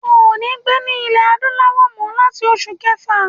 O ò ní gbé ní ile Adúláwò mó láti oṣù kẹfà.